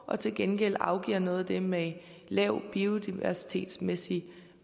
og til gengæld afgiver noget af det med lav biodiversitetsmæssig